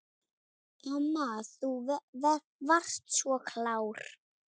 Amma þú varst svo klár.